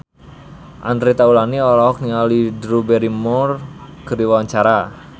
Andre Taulany olohok ningali Drew Barrymore keur diwawancara